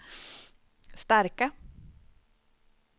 starka